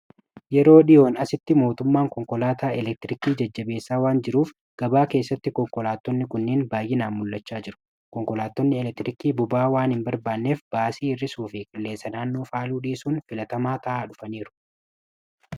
yeroo dhiyoon asitti mootummaan konkolaataa elektirikii jajjabeessaa waan jiruuf gabaa keessatti konkolaatonni kunnien baay'inaa mul'achaa jiru konkolaatonni elektirikii boba'a waan hin barbaanneef baasii hirrisuu fi qilleessa naannoo faaluu dhiisuun filatamaa ta'aa dhufaniiru